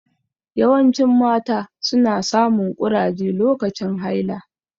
Yawancin mata su na samun ƙurage lokacin haila